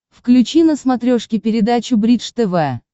включи на смотрешке передачу бридж тв